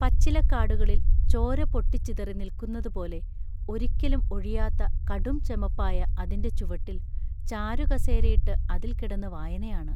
പച്ചിലക്കാടുകളിൽ ചോര പൊട്ടിച്ചിതറി നില്ക്കുന്നതുപോലെ ഒരിക്കലും ഒഴിയാത്ത കടും ചെമപ്പായ അതിന്റെ ചുവട്ടിൽ ചാരുകസേരയിട്ട് അതിൽ കിടന്നു വായനയാണ്.